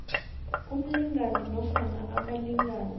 umlingani nofana abalingani